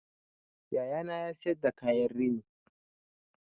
Yayana na siyar da kayan rini